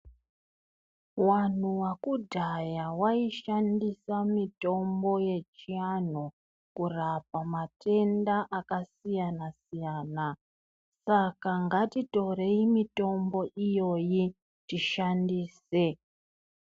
Vantu vekudhaya vaishandisa mitombo yechivantu kurapa matenda akasiyana-siyana Saka ngatitorei mitombo iyoyi tishandise.